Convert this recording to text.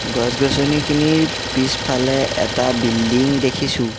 গছ-গছনিখিনিৰ পিছফালে এটা বিল্ডিং দেখিছোঁ।